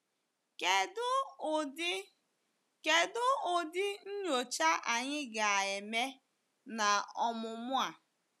Kedụ ụdị Kedụ ụdị nnyocha anyị ga-eme n’ọmụmụ a?